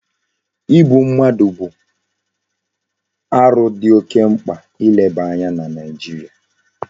Igbu mmadu bu aru di oke mkpa ileba anya na naijiria